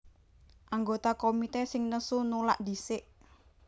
Anggota komité sing nesu nulak dhisik